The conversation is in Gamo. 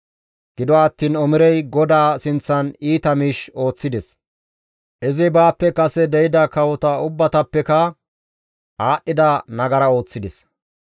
Gido attiin Omirey GODAA sinththan iita miish ooththides; izi baappe kase de7ida kawota ubbatappeka aadhdhida nagara ooththides.